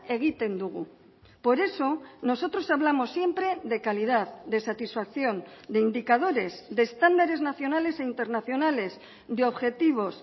egiten dugu por eso nosotros hablamos siempre de calidad de satisfacción de indicadores de estándares nacionales e internacionales de objetivos